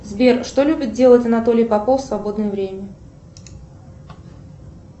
сбер что любит делать анатолий попов в свободное время